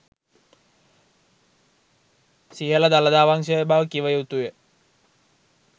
සිහල දළදා වංශය බව කිව යුතුය